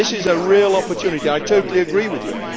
This is a real opportunity, I totally agree with you.